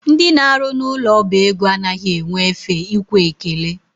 Ndị na-arụ n'ụlọ ọba ego anaghị enwe efe ikwe ekele.